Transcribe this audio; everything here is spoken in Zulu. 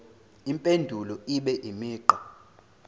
impendulo ibe imigqa